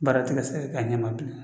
Baara ti ka se ka k'a ɲɛ ma bilen